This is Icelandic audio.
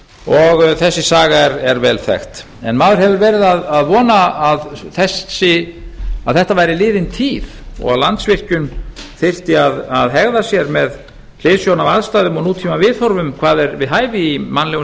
og þessi saga er vel þekkt en maður hefur verið að vona að þetta væri liðin tíð og að landsvirkjun þyrfti að hegða sér með hliðsjón af aðstæðum og nútíma viðhorfum hvað er við hæfi í mannlegum